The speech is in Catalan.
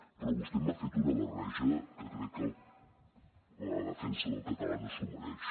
però vostè m’ha fet una barreja que crec que la defensa del català no s’ho mereix